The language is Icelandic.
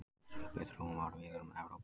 Svipuð þróun varð víðar um Evrópu.